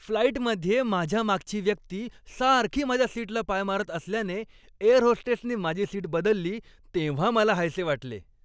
फ्लाइटमधे माझ्या मागची व्यक्ती सारखी माझ्या सीटला पाय मारत असल्याने, एअर होस्टेसने माझी सीट बदलली तेव्हा मला हायसे वाटले.